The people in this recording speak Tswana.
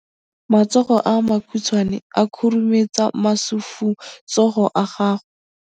Matsogo a makhutshwane a khurumetsa masufutsogo a gago.